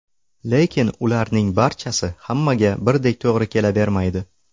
Lekin ularning barchasi hammaga birdek to‘g‘ri kelavermaydi.